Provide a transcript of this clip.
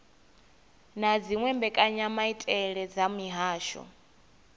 na dziwe mbekanyamaitele dza mihasho